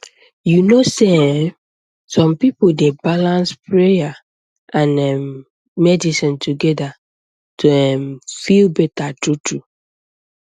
you know sey um some people dey balance prayer and um medicine together to um feel better truetrue